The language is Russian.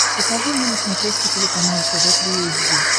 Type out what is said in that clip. покажи мне на смотрешке телеканал тв три эйч ди